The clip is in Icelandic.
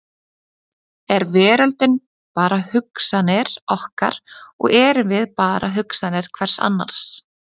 Er veröldin bara hugsanir okkar og erum við bara hugsanir hvers annars?